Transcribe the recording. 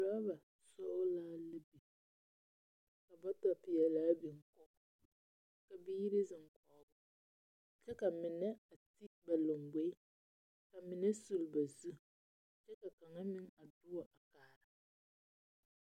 Oraba sɔglaa la biŋ, ka moto-peɛlaa biŋ, ka biiri zeŋ, kyɛ ka mine a ti ba lamboe, ka mine suli ba su, kyɛ ka kaŋa meŋ a duo a kaara.